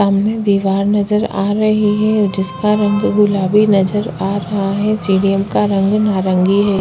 सामने दीवार नज़र आ रही है जिसका रंग गुलाबी नज़र आ रहा है सीढ़ियों का रंग नारंगी हैं।